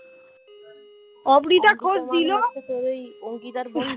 তোর ওই অঙ্কিতার বন্ধু